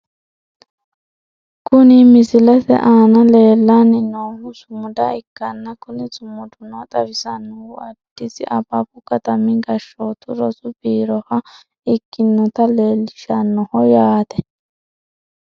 Kuni misilete aana leellanni noohu sumuda ikkanna kuni sumuduno xawisannohu addisi ababu katami gashshooti rosu biiroha ikkinota leellishshannoho yaate .